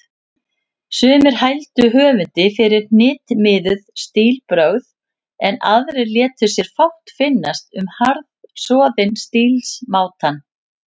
Sumir hældu höfundi fyrir hnitmiðuð stílbrögð, en aðrir létu sér fátt finnast um harðsoðinn stílsmátann.